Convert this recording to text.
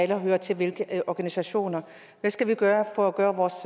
der hører til hvilke organisationer hvad skal vi gøre for at gøre vores